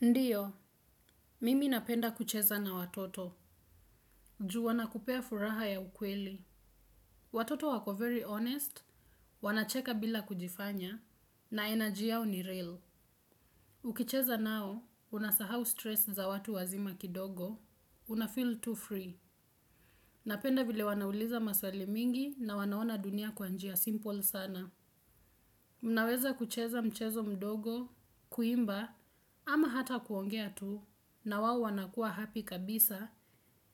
Ndiyo, mimi napenda kucheza na watoto. Juu wana kupea furaha ya ukweli. Watoto wako very honest, wanacheka bila kujifanya. Na energy yao ni real. Ukicheza nao, unasahau stress za watu wazima kidogo. Unafeel tu free. Napenda vile wanauliza maswali mingi na wanaona dunia kwa njia simple sana. Unaweza kucheza mchezo mdogo, kuimba ama hata kuongea tu. Na wao wanakuwa happy kabisa.